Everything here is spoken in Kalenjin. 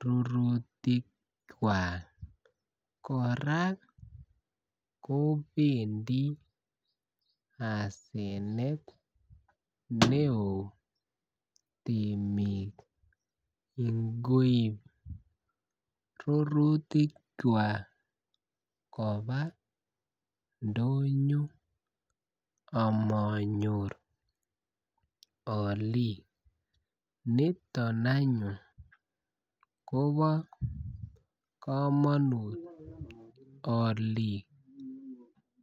rurutikwak koraa kobendi asanet ne oo temik ngoib rurutikwak kobaa ndonyo amonyor oliik niton anyun kobo komonut oliik